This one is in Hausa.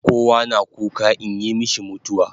Kowa na kuka inyi mishi mutawa